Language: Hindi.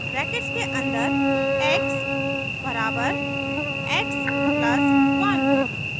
ब्रैकेट्स के अन्दर x बराबर x plus 1